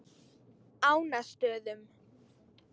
Ánastöðum